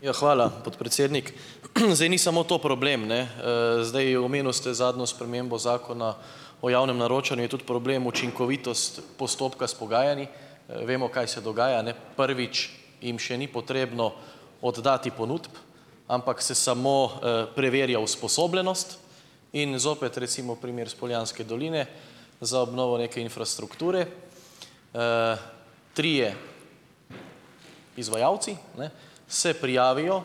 Ja, hvala, podpredsednik. Zdaj ni samo to problem, ne Zdaj, omenil ste zadnjo spremembo zakona o javnem naročanju. Je tudi problem učinkovitost postopka s pogajanji. Vemo, kaj se dogaja, ne. Prvič, jim še ni potrebno oddati ponudb, ampak se samo preverja usposobljenost. In zopet, recimo, primer iz Poljanske doline za obnovo neke infrastrukture, trije izvajalci, ne, se prijavijo,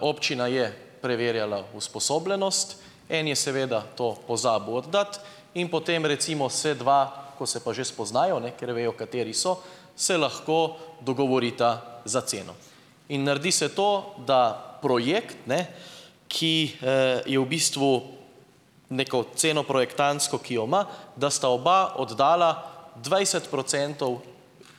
občina je preverjala usposobljenost. En je seveda to pozabil oddati in potem, recimo, se dva, ko se pa že spoznajo, ne, ker vejo, kateri so, se lahko dogovorita za ceno. In naredi se to, da projekt, ne, ki je v bistvu neko ceno projektantsko, ki jo ima, da sta oba oddala dvajset procentov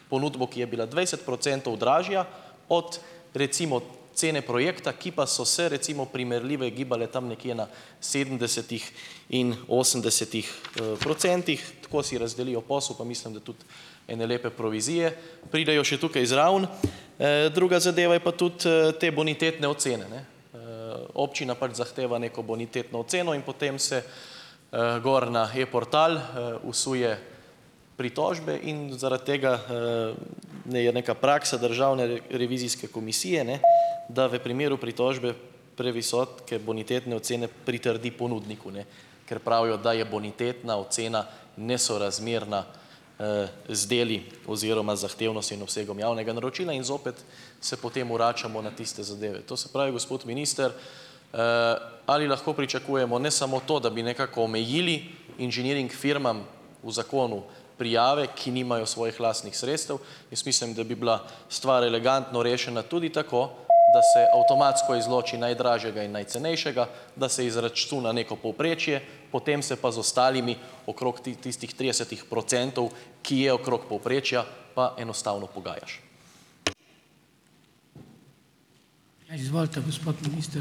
ponudbo, ki je bila dvajset procentov dražja od, recimo, cene projekta, ki pa so se, recimo, primerljive gibale tam nekje na sedemdesetih in osemdesetih procentih. Tako si razdelijo posel pa mislim, da tudi ene lepe provizije pridejo še tukaj zraven. Druga zadeva je pa tudi te bonitetne ocene, ne. Občina pač zahteva neko bonitetno oceno in potem se gor na e-portal vsuje pritožbe in zaradi tega, ne, je neka praksa državne revizijske komisije, ne, da v primeru pritožbe, previsoke bonitetne ocene pritrdi ponudniku, ne, ker pravijo, da je bonitetna ocena nesorazmerna z deli oziroma zahtevnostjo in obsegom javnega naročila in zopet se potem vračamo na tiste zadeve. To se pravi, gospod minister, ali lahko pričakujemo, ne samo to, da bi nekako omejili inženiring firmam v zakonu prijave, ki nimajo svojih lastnih sredstev. Jaz mislim, da bi bila stvar elegantno rešena tudi tako, da se avtomatsko izloči najdražjega in najcenejšega, da se izračuna neko povprečje, potem se pa z ostalimi, okrog tistih tridesetih procentov, ki je okrog povprečja, pa enostavno pogajaš.